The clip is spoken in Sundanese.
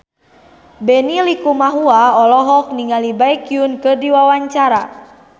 Benny Likumahua olohok ningali Baekhyun keur diwawancara